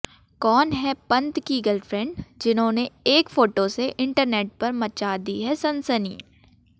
कौन हैं पंत की गर्लफ्रेंड जिन्होंने एक फोटो से इंटरनेट पर मचा दी है सनसनी